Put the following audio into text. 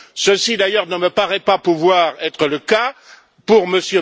Ceci, d'ailleurs, ne me paraît pas pouvoir être le cas pour M.